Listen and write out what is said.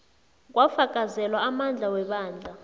kwafakazelwa amandla webandla